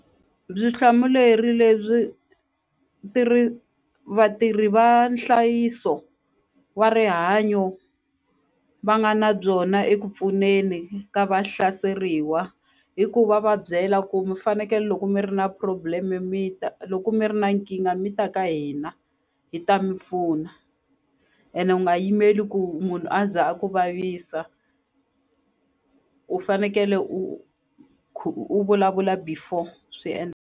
hlamuleri lebyi vatirhi va nhlayiso wa rihanyo va nga na byona eku pfuneni ka va hlaseriwa i ku va va byela ku mi fanekele loko mi ri na problem mi ta loko mi ri na nkingha mi ta ka hina hi ta mi pfuna ene u nga yimeli ku munhu a za a ku vavisa u fanekele u u vulavula before swi .